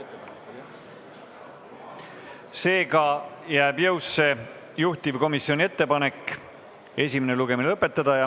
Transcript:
Seega jääb jõusse juhtivkomisjoni ettepanek esimene lugemine lõpetada.